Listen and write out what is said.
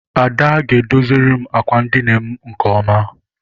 Ada ga- edoziri m àkwà edina m nke ọma.